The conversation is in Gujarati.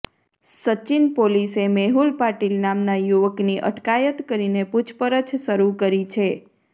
સચીન પોલીસે મેહુલ પાટીલ નામના યુવકની અટકાયત કરીને પૂછપરછ શરૂ કરી છે